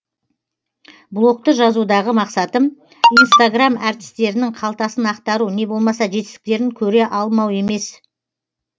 блогты жазудағы мақсатым инстаграм әртістерінің қалтасын ақтару не болмаса жетістіктерін көре алмау емес